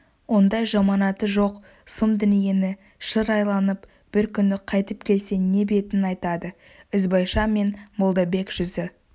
ондай жаманаты жоқ сұм дүниені шыр айланып бір күні қайтып келсе не бетін айтады ізбайша мен молдабек жүзі